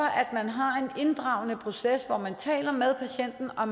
har en inddragende proces hvor man taler med patienten og